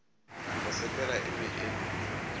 go sepela e be e